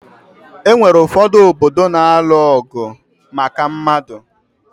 Onwere ụfọdụ obodo na-alụ ọgụ maka mmanụ